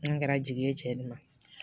N'a kɛra jigi ye cɛ ni ma